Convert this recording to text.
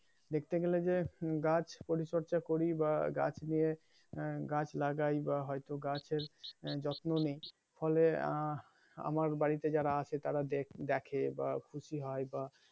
দেখতে গেলে যে গাছ পরিচর্চা করি বা গাছ নিয়ে গাছ লাগাই বা হয়তো গাছের যত্ন নিই ফলে আহ আমার বাড়িতে যারা আছে তারা দেখে বা খুশি হয় বা